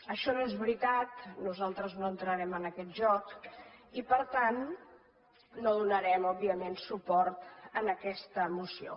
això no és veritat nosaltres no entrarem en aquest joc i per tant no donarem òbviament suport a aquesta moció